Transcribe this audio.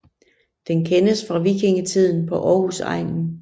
Den kendes fra vikingetiden på Aarhusegnen